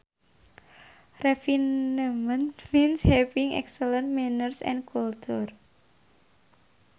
Refinement means having excellent manners and culture